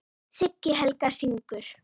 Siggi Helga: Syngur?